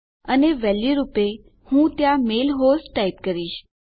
અને વેલ્યુ રૂપે હું ત્યાં મેલ હોસ્ટ ટાઈપ કરીશ